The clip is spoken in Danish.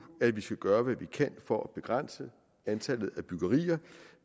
at vi skal gøre hvad vi kan for at begrænse antallet af byggerier